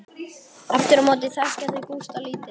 Aftur á móti þekkja þau Gústa lítið.